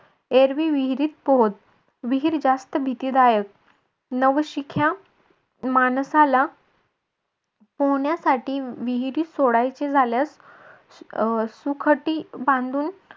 एरवी विहिरीत पोहोत. विहीर जास्त भीतीदायक नवशिख्या माणसाला पोहोण्यासाठी विहिरीत सोडायची झाल्यास अं सुखटी बांधून